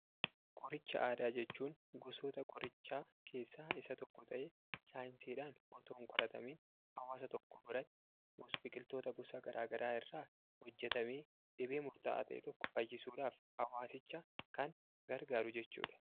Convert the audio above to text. Qoricha aadaa jechuun gosoota qorichaa keessaa isa tokko ta'ee saayinsiidhaan otoon qoratamiin hawaasa tokko biratti biqiltoota gosa garaa garaa irraa hojjetamee dhibee murtaa'aa ta'e tokko fayyisuudhaaf hawaasicha kan gargaaru jechuudha.